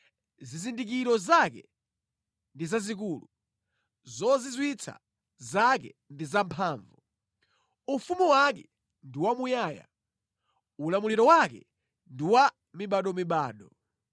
Zizindikiro zake ndi zazikulu, zozizwitsa zake ndi zamphamvu! Ufumu wake ndi wamuyaya; ulamuliro wake ndi wa mibadomibado.